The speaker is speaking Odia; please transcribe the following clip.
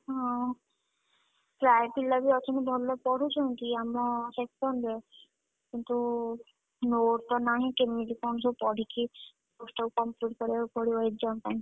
ହଁ ପ୍ରାୟ ପିଲା ବି ଅଛନ୍ତି, ଭଲ ପଢୁଛନ୍ତି ଆମ section ରେ, କିନ୍ତୁ, note ତ ନାହିଁ କେମିତି କଣ ସବୁ ପଢିକି, course ସବୁ complete କରିଆକୁ ପଡିବ exam ପାଇଁ।